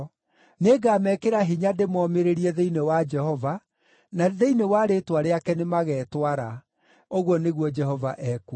Nĩngamekĩra hinya ndĩmomĩrĩrie thĩinĩ wa Jehova, na thĩinĩ wa rĩĩtwa rĩake nĩmagetwara,” ũguo nĩguo Jehova ekuuga.